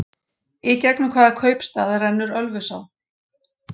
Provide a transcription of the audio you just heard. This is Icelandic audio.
Í gegnum hvaða kaupstað rennur Ölfusá?